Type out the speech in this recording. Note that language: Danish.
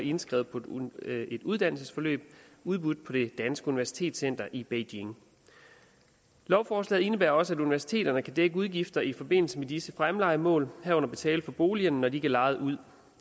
indskrevet på et uddannelsesforløb udbudt på det danske universitetscenter i beijing lovforslaget indebærer også at universiteterne kan dække udgifter i forbindelse med disse fremlejemål herunder betale for boligerne når de lejet ud